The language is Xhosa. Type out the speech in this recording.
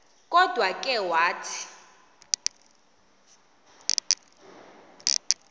kodwa ke wathi